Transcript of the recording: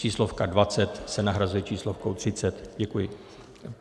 Číslovka 20 se nahrazuje číslovkou 30. Děkuji.